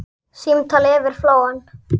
Símtal yfir flóann